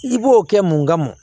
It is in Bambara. I b'o kɛ mun kama